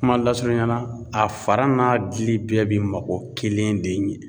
Kuma lasurunya na a fara n'a dili bɛɛ bi mako kelen de ɲɛ.